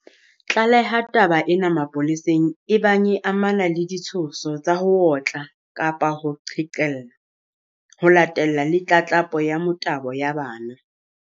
Tlaleha taba ena mapoleseng ebang e amana le ditshoso tsa ho otla kapa ho qhekella, ho latella le tlatlapo ya motabo ya bana.